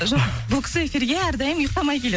жоқ бұл кісі эфирге әрдайым ұйықтамай келеді